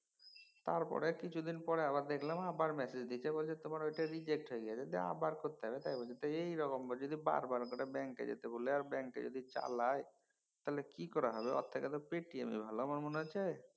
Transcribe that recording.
তারপরে কিছুদিন পরে দেখলাম আবার একটা ম্যাসেজ দিয়েছে বলছে তোমার ওটা reject হয়ে গেছে দিয়ে আবার করতে হবে তাই বলছে। তো এইরকম করে যদি বার বার করে ব্যাঙ্কে যেতে বলে আর ব্যাঙ্কে যদি চালায় তাহলে কি করে হবে। ওর থেকে তো পেটিএমই ভালো আমার মনে হছে।